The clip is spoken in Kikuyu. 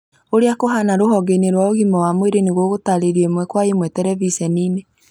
ũrĩa kũhana rũhonge-inĩ rwa ũgima wa mwĩrĩ nĩgũgũtarĩrio ĩmwe kwa ĩmwe tereviceni-inĩ